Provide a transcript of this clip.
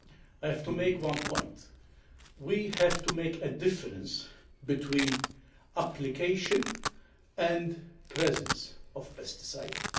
I have to make one point we have to make a difference between the application and the presence of pesticides.